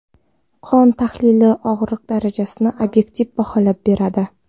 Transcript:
Qon tahlili og‘riq darajasini obyektiv baholab beradi.